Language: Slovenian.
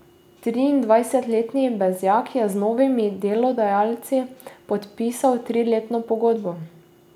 Triindvajsetletni Bezjak je z novimi delodajalci podpisal triletno pogodbo.